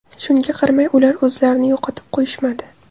Shunga qaramay, ular o‘zlarini yo‘qotib qo‘yishmadi.